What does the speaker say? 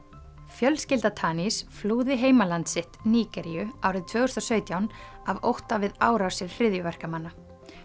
fjölskylda flúði heimaland sitt Nígeríu árið tvö þúsund og sautján af ótta við árásir hryðjuverkamanna